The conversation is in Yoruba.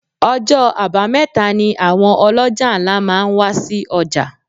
Ọjọ́ abameta ni àwọn oloja ńlá máa ń wa sí ọjà.